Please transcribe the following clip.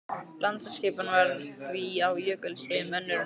Landaskipan var því á jökulskeiðum önnur en nú er.